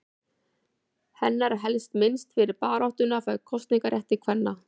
Hennar er helst minnst fyrir baráttuna fyrir kosningarétti kvenna.